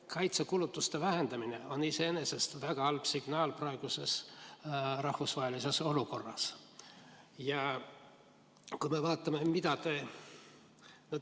Kaitsekulutuste vähendamine on iseenesest praeguses rahvusvahelises olukorras väga halb signaal.